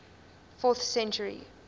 fourth century